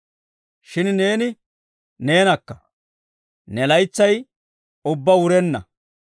Shin neeni neenakka; ne laytsay ubbaa wurenna.